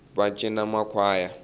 va cini va makhwaya ava tele